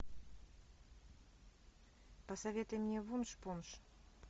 посоветуй мне вунш пунш